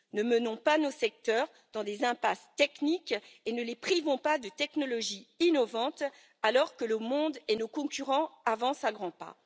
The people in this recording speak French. Ne menons pas nos secteurs dans des impasses techniques et ne les privons pas de technologies innovantes, alors que le monde et nos concurrents avancent à grands pas.